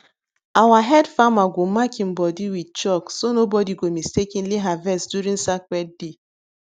our head farmer go mark im body with chalk so nobody go mistakenly harvest during sacred day